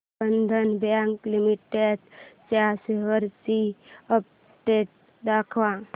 बंधन bank limited च्या shares ची update दाखव